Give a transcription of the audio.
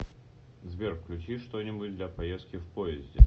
сбер включи что нибудь для поездки в поезде